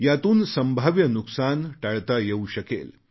यातून संभाव्य नुकसान टाळता येऊ शकेल